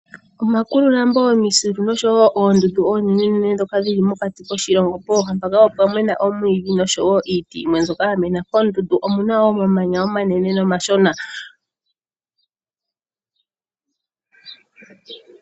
Omakululambo, omisilu , nosho woo Oondundu oonenene dhoka dhili mokati koshilongo. Pooha mpoka opwa mena omwiidhi nosho woo iiti yimwe mbyoka ya mena. Moondundu omuna omamanya omanene nomashona.